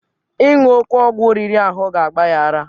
Ịṅụ oke ọgwụ riri ahụ ga-agba ya ara.